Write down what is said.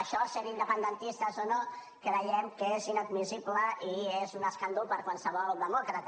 això sent independentistes o no creiem que és inadmissible i és un escàndol per a qualsevol demòcrata